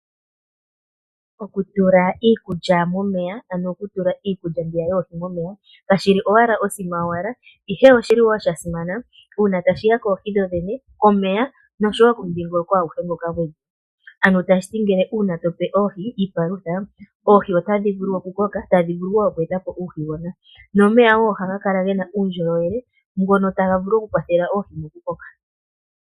Okutula iikulya momeya, ano okutula iikulya yoohi momeya kashi shi owala osima yowala, ihe osha simana uuna tashi ya koohi dhodhene, komeya noshowo komudhingoloko aguhe. Tashi ti uuna pe oohi iipalutha, oohi otadhi vulu okukoka, tadhi vulu wo oku eta po uuhigona nomeya wo ohaga vulu okukala ge na uundjolowele mono taga vulu okukwathela oohi mokukoka.